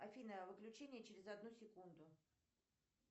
афина выключение через одну секунду